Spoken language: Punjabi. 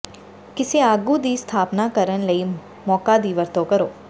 ਕਿਸੇ ਆਗੂ ਦੀ ਸਥਾਪਨਾ ਕਰਨ ਲਈ ਮੌਕਾ ਦੀ ਵਰਤੋਂ ਕਰੋ